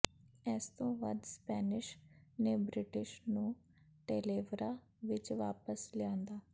ਇਸ ਤੋਂ ਵੱਧ ਸਪੈਨਿਸ਼ ਨੇ ਬ੍ਰਿਟਿਸ਼ ਨੂੰ ਟੇਲੇਵੇਰਾ ਵਿਚ ਵਾਪਸ ਲਿਆਂਦਾ